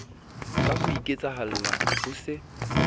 ka ho iketsahalla ho se